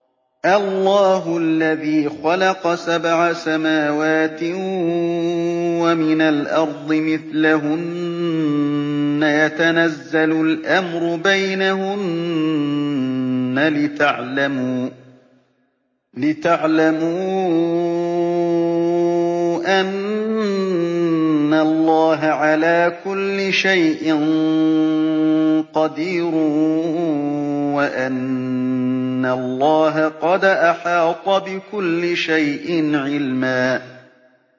اللَّهُ الَّذِي خَلَقَ سَبْعَ سَمَاوَاتٍ وَمِنَ الْأَرْضِ مِثْلَهُنَّ يَتَنَزَّلُ الْأَمْرُ بَيْنَهُنَّ لِتَعْلَمُوا أَنَّ اللَّهَ عَلَىٰ كُلِّ شَيْءٍ قَدِيرٌ وَأَنَّ اللَّهَ قَدْ أَحَاطَ بِكُلِّ شَيْءٍ عِلْمًا